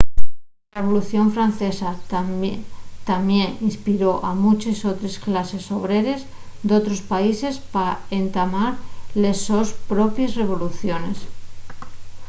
la revolución francesa tamién inspiró a munches otres clases obreres d'otros países pa entamar les sos propies revoluciones